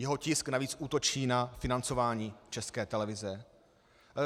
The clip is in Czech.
Jeho tisk navíc útočí na financování České televize.